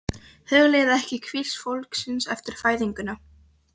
Hugleiðir ekki hvísl fólksins eftir fæðinguna.